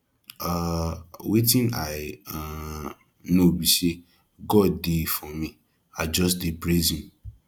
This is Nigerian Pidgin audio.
um wetin i um know be say god dey for me i just dey praise him